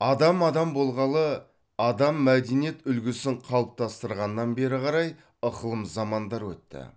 адам адам болғалы адам мәдениет үлгісін қалыптастырғаннан бері қарай ықылым замандар өтті